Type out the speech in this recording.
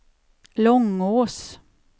Långås